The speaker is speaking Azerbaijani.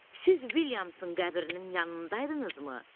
Siz Vilyamsın qəbrinin yanındaydınızmı?